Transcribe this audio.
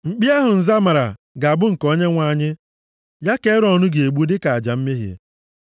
Mkpi ahụ nza mara ga-abụ nke Onyenwe anyị, ya ka Erọn ga-egbu dịka aja mmehie.